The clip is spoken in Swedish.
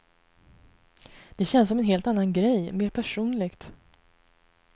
Det känns som en helt annan grej, mer personligt.